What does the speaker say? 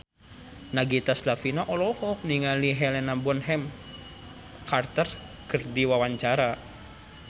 Nagita Slavina olohok ningali Helena Bonham Carter keur diwawancara